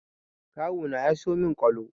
Kawu na ya siyo min ƙwalo